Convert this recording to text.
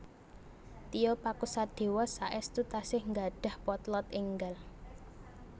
Tio Pakusadewo saestu tasih nggadhah potlot enggal